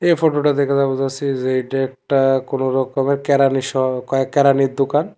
এই ফটোটা দেখে যা বোঝা যাচ্ছি যে এটা একটা কোন রকমের কেরানি সহ কেরানির দোকান।